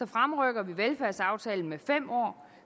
fremrykker vi velfærdsaftalen med fem år